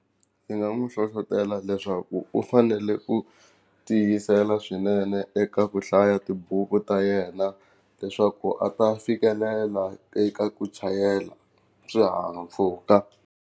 Ni nga n'wi hlohlotelo leswaku u fanele ku tiyisela swinene eka ku hlaya tibuku ta yena leswaku a ta fikelela eka ku chayela swihahampfhuka.